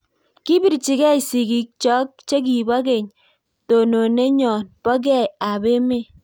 Kipirchii gei sigiig chook chekipoo kech tononetnyoon poo gei ap emeet